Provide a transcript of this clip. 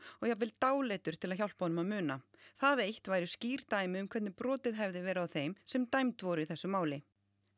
og jafnvel dáleiddur til að hjálpa honum að muna það eitt væru skýrt dæmi um hvernig brotið hefði verið á þeim sem dæmd voru í þessu máli